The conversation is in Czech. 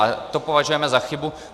A to považujeme za chybu.